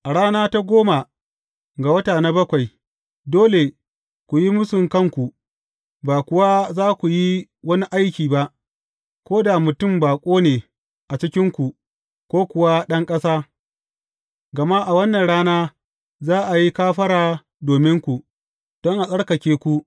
A rana ta goma ga wata na bakwai, dole ku yi mūsu kanku, ba kuwa za ku yi wani aiki ba, ko da mutum baƙo ne a cikinku ko kuwa ɗan ƙasa, gama a wannan rana za a yi kafara dominku, don a tsarkake ku.